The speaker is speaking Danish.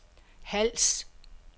Hals